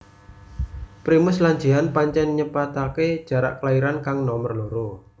Primus lan Jihan pancén nyepetaké jarak kelairan kang nomer loro